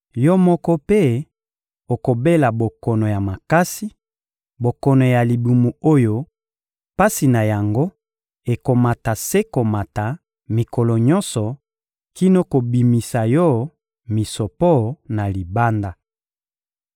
Yo moko mpe okobela bokono ya makasi, bokono ya libumu oyo pasi na yango ekomata se komata mikolo nyonso kino kobimisa yo misopo na libanda.›»